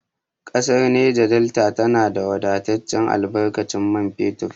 Ƙasar Neja Delta tana da wadataccen albarkatun man fetur.